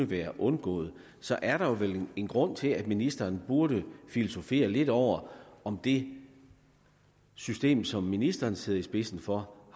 været undgået så er der vel en grund til at ministeren burde filosofere lidt over om det system som ministeren sidder i spidsen for